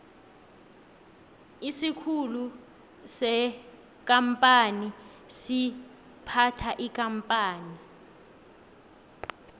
isikhulu sekampani siphatha ikampani